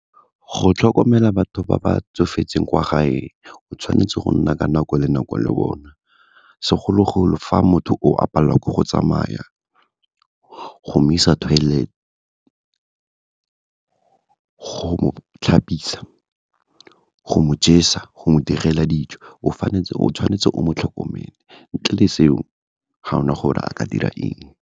Go tlhokomela batho ba ba tsofetseng kwa gae, o tshwanetse go nna ka nako le nako le bona. Segologolo fa motho o, a palelwa ke go tsamaya, go mo isa toilet, go mo tlhapisa, go mo jesa, go mo direla dijo, o tshwanetse o mo tlhokomele, ntle le seo, ga ona gore a ka dira eng.